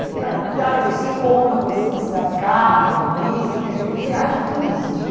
Fui para Itália, conheci Roma, conheci uma cidade, Capri, Nice, quer dizer, viagem turística.